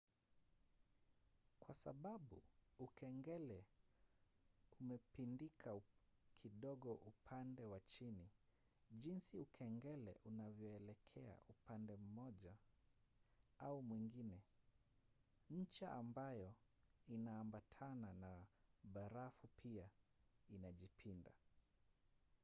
kwa sababu ukengele umepindika kidogo upande wa chini jinsi ukengele unavyoelekea upande mmoja au mwingine ncha ambayo inaambatana na barafu pia inajipinda